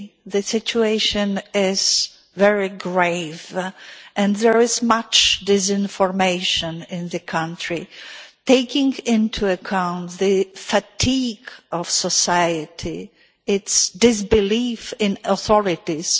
the situation is very grave and there is much disinformation in that country, taking into account the fatigue of society, and its disbelief in the authorities.